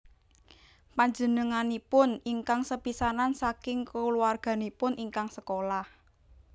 Panjenenganipun ingkang sepisanan saking kulawarganipun ingkang sekolah